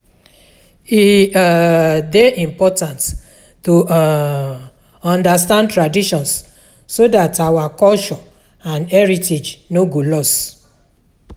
E um de important to um understand traditions so that our culture and heritage no go loss